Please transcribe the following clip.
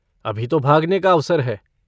अभी तो भागने का अवसर है।